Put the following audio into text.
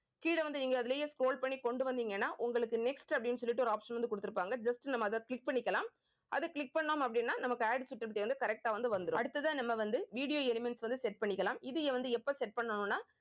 கீழே வந்து நீங்க அதிலேயே scroll பண்ணி கொண்டு வந்தீங்கன்னா உங்களுக்கு next அப்படின்னு சொல்லிட்டு ஒரு option வந்து கொடுத்திருப்பாங்க just நம்ம அதை click பண்ணிக்கலாம் அதை click பண்ணோம் அப்படின்னா நமக்கு correct ஆ வந்து வந்துரும். அடுத்ததா நம்ம வந்து video elements வந்து set பண்ணிக்கலாம். இதை வந்து எப்ப set பண்ணணும்ன்னா